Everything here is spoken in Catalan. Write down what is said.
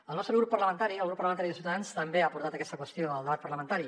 el nostre grup parlamentari el grup parlamentari de ciutadans també ha por·tat aquesta qüestió al debat parlamentari